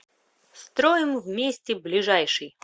строим вместе ближайший